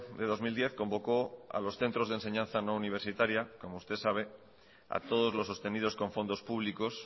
de dos mil diez convocó a los centros de enseñanza no universitaria como usted sabe a todos los sostenidos con fondos públicos